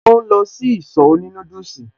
Ṣe ò ń lọ sí ìsọ̀ òní núdùsì?